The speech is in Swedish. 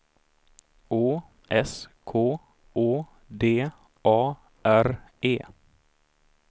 Å S K Å D A R E